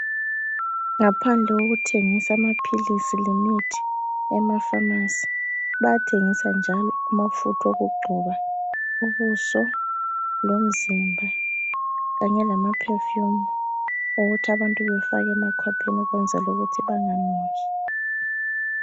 Ngaphandle kokuthengisa amaphilisi lemithi, emafamasi, bayathengisa njalo amafutha okugcoba ubuso lomzimba, kanye lamaphefumu ukuthi abantu bafake emakhwapheni ukwenzela ukuthi banganuki.